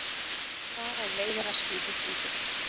Þar af leiðir að skipið flýtur.